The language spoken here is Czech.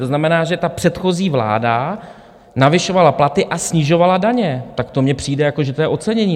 To znamená, že ta předchozí vláda navyšovala platy a snižovala daně, tak to mně přijde, jako že to je ocenění.